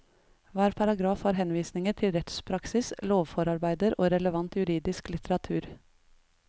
Hver paragraf har henvisninger til rettspraksis, lovforarbeider og relevant juridisk litteratur.